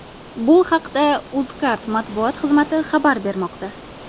Bu haqda Uzcard matbuot xizmati xabar bermoqda .